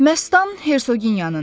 Məstan Hersonyadır.